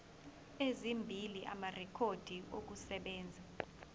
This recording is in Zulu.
ezimbili amarekhodi okusebenza